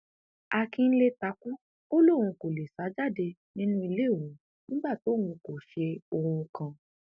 àkínńlé takú ò lóun kò lè sá jáde nínú ilé òun nígbà tóun kò ṣe ohun kan